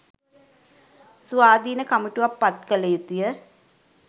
ස්වාධින කමිටුවක් පත් කල යුතුය